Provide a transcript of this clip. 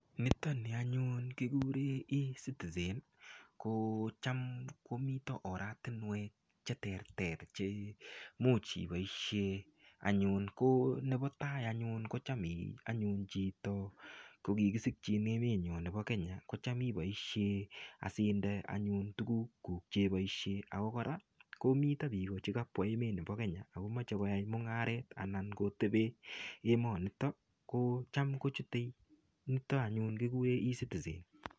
Nitoni anyun kikure ecitizen ko cham komito oratinwek che ter ter che much iboishe anyun ko nebo tai anyun ko cham chito kokikisikchin emoni bo Kenya ko cham iboishe asinde anyun tukukuk cheboishe ako kora komito biiko chikabwa emoni bo Kenya ako mochei koyai mung'aret akomochei kotebe emonito ko cham kochute anyun nito kikure ecitizen.